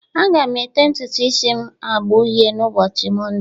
Aga m ete ntutu isi m agba uhie n'ụbọchị Mọnde